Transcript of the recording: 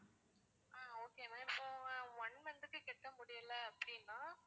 ஆஹ் okay ma'am இப்போ one month க்கு கட்ட முடியல அப்பிடின்னா